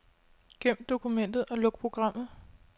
Gem dokumentet og luk programmet.